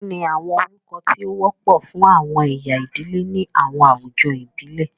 Kini awọn orukọ ti o wọpọ fun awọn ẹya idile ni awọn awujọ ibile?